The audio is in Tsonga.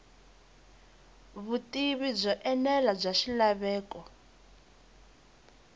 vutivi byo enela bya swilaveko